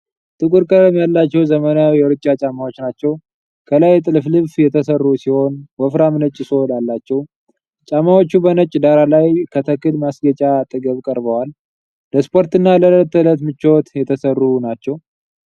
ጥቁር ቀለም ያላቸው፣ ዘመናዊ የሩጫ ጫማዎች ናቸው። ከላይ ጥልፍልፍ የተሠሩ ሲሆን፣ ወፍራም ነጭ ሶል አላቸው። ጫማዎቹ በነጭ ዳራ ላይ ከተክል ማስጌጫ አጠገብ ቀርበዋል። ለስፖርትና ለዕለት ተዕለት ምቾት የተሰሩ ናቸው።